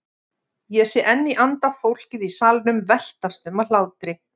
Ég sé enn í anda fólkið í salnum veltast um af hlátri.